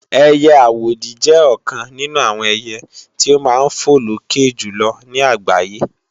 ẹiyẹ àwòdì jẹ́ ọ̀kan nínú àwọn ẹiyẹ tí ó máa ń fò lókè jùlọ ní àgbáyé